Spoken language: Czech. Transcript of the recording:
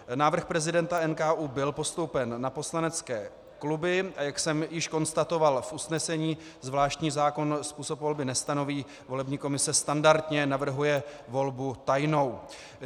Návrh prezidenta NKÚ byl postoupen na poslanecké kluby, a jak jsem již konstatoval v usnesení, zvláštní zákon způsob volby nestanoví, volební komise standardně navrhuje volbu tajnou.